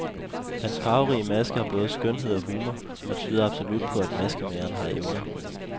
Hans farverige maske har både skønhed og humor, og tyder absolut på at maskemageren har evner.